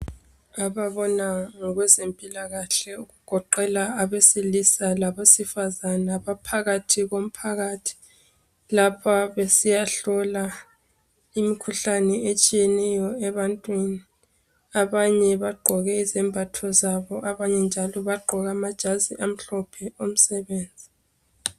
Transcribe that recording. Ababona ngokwezempilakahle okugoqela abesilisa labesifazana baphakathi komphakathi lapha besiyahlola imikhuhlane etshiyeneyo ebantwini . Abanye bagqoke izembatho zabo, abanye njalo bagqoke amhlophe omsebenzi.